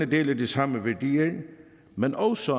deler de samme værdier men også